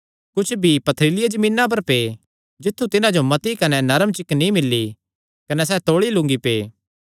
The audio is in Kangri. कुच्छ बीई पथरीलिया जमीना पर पै जित्थु तिन्हां जो मती कने नरम चिक्क नीं मिल्ली कने सैह़ तौल़े लूंगी पै